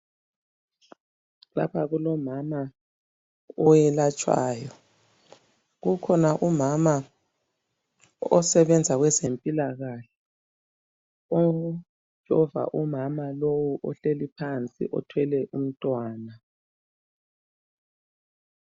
Lapha kulomama oyelatshwayo. Kukhona umama osebenza kwezempilakahle otshova umama lowu ohleli phansi othwele umntwana.